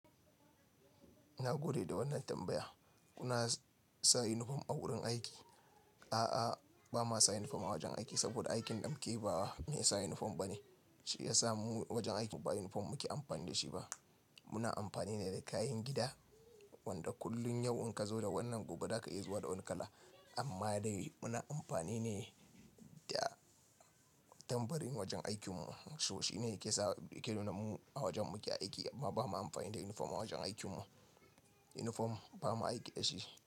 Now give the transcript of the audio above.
Na gode da wannan tambaya. Kuna sa uniform a wurin aiki? A'a, ba ma sa uniform a wajen aiki saboda aikin ɗa mu keyi bawa me sa uniform bane. Shi ya sa mu wajen aikin mu ba uniform muke amfani da shi ba. Muna amfani ne da kayan gida wanda kullum yau in ka zo da wannan gobe za ka iya zuwa da wani kala. Amma dai muna amfani ne da tambarin wajen aikin mu. So shi ne yake sa yake nuna mu a wajen muke aiki. Ba ma amfani da uniform a wajen aikin mu. Uniform ba mu aiki da shi.